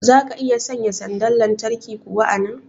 zaka iya sanya sanda lantarki kuwa a nan?